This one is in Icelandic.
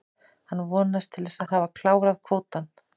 Hann vonast til að hafa klárað kvótann.